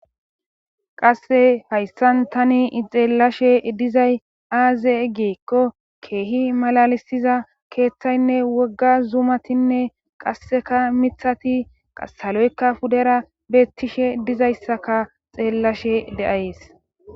qasse hayssan tani xeellashe dizay aaze egeekko keehi malalisiza keeththaynne wogga zuumatinne qasseka mithas aloykka pudara beettishe dizayssaka xeellashe de7ayees